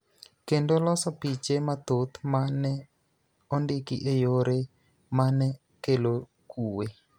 kendo loso piche mathoth ma ne ondiki e yore ma ne kelo kuwe.